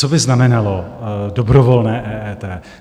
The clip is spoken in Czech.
Co by znamenalo dobrovolné EET?